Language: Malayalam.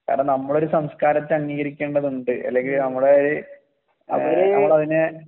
കാരണം നമ്മൾ ഒരു സംസ്കാരത്തെ അംഗീകരിക്കേണ്ടതുണ്ട് അല്ലെങ്കി നമ്മൾ നമ്മളതിനെ